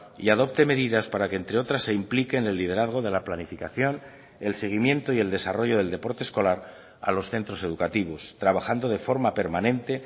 y adopte medidas para que entre otras se implique en el liderazgo de la planificación el seguimiento y el desarrollo del deporte escolar a los centros educativos trabajando de forma permanente